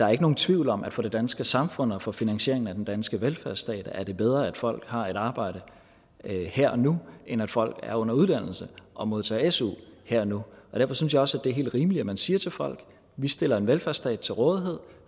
er nogen tvivl om at for det danske samfund og for finansieringen af den danske velfærdsstat er det bedre at folk har et arbejde her og nu end at folk er under uddannelse og modtager su her og nu og derfor synes jeg også at det er helt rimeligt at man siger til folk vi stiller en velfærdsstat til rådighed